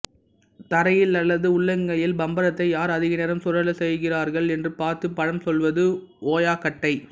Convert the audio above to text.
தரையில் அல்லது உள்ளங்கையில் பம்பரத்தை யார் அதிக நேரம் சுழலச் செய்கிறார்கள் என்று பார்த்துப் பழம் சொல்வது ஓயாக்கட்டை